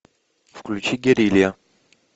включи герилья